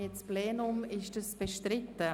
Ist der Antrag bestritten?